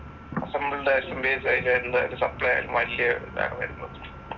Assembled SMPS വലിയ ഇതാണ് വരുന്നത്.